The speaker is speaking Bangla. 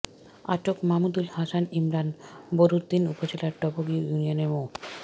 আটক মামুদুল হাসান ইমরান বোরহানউদ্দিন উপজেলার টবগী ইউনিয়নের মো